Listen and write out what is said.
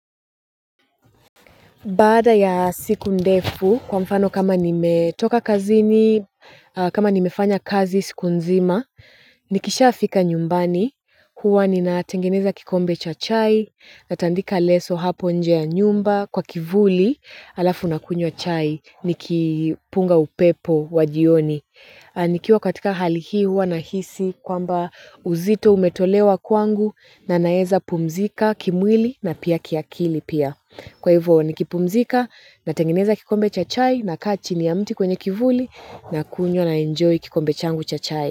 Baada ya siku ndefu, kwa mfano kama nimetoka kazini, kama nimefanya kazi siku nzima, nikisha fika nyumbani. Huwa nina tengeneza kikombe cha chai, natandika leso hapo nje ya nyumba, kwa kivuli, alafu nakunywa chai, nikipunga upepo wa jioni. Nikiwa katika hali hii huwa na hisi kwamba uzito umetolewa kwangu na naeza pumzika kimwili na pia kiakili pia. Kwa hivyo ni kipumzika na tengeneza kikombe cha chai na kaa chini ya mti kwenye kivuli na kunywa na enjoy kikombe changu cha chai.